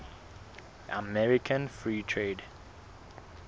american free trade